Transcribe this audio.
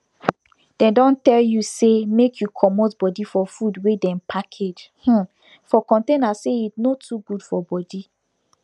dem don tell you say make you comot body for food we dem package um for container say e no too good for body